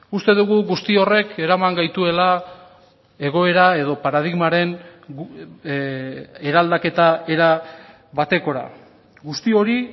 uste dugu guzti horrek eraman gaituela egoera edo paradigmaren eraldaketa era batekora guzti hori